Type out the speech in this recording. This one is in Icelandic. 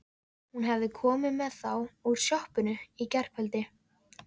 Hún hafði komið með þá úr sjoppunni í gærkveldi.